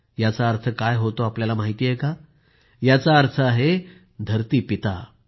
याचा अर्थ काय होतो हे आपल्याला माहित आहे का याचा अर्थ आहे धरती पिता